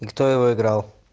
и кто его играл